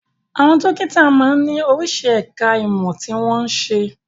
Àwọn dókítà máa ń ní oríṣi ẹ̀ka ìmọ̀ tí wọ́n n ṣe.